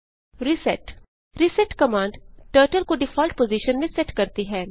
reset reset command turtle को default position में set करती है